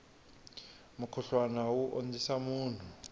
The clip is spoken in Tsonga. mukhuhlwana wu ondzisa munhu